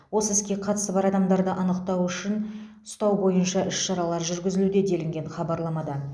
осы іске қатысы бар адамдарды анықтау үшін ұстау бойынша іс шаралар жүргізілуде делінген хабарламада